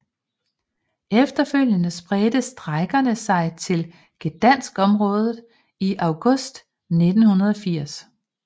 Efterfølgende spredte strejkerne sig til Gdańskområdet i august 1980